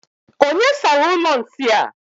Onye sara ụlọ nsị a?